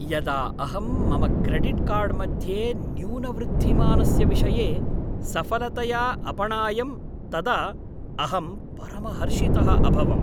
यदा अहं मम क्रेडिट् कार्ड् मध्ये न्यूनवृद्धिमानस्य विषये सफलतया अपणायं तदा अहं परमहर्षितः अभवम्।